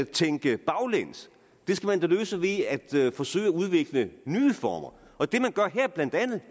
tænke baglæns det skal man da løse ved at forsøge at udvikle nye former